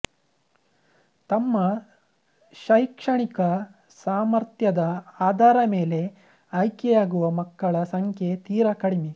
ತಮ್ಮ ಶೈಕ್ಷಣಿಕ ಸಾಮರ್ಥ್ಯದ ಆಧಾರ ಮೇಲೆ ಆಯ್ಕೆಯಾಗುವ ಮಕ್ಕಳ ಸಂಖ್ಯೆ ತೀರ ಕಡಿಮೆ